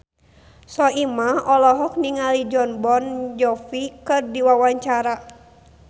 Soimah olohok ningali Jon Bon Jovi keur diwawancara